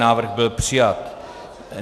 Návrh byl přijat.